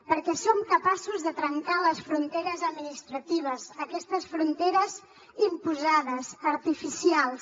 perquè som capaços de trencar les fronteres administratives aquestes fronteres imposades artificials